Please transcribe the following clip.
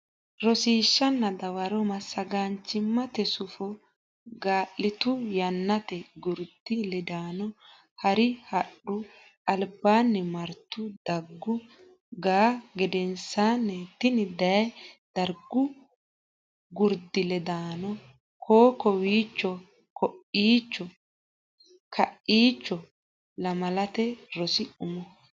Rosiishshanna Dawaro Massagaanchimmate Sufo gali ittu Yannate gurdi ledaano hari hadhu albaanni martu daggu ga a gedensaanni iti dayi Dargu Gurdi Ledaano koo o kowiicho ko iicho hakkiicho Lamalate Rosi Umo.